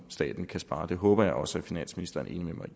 staten at spare det håber jeg også at finansministeren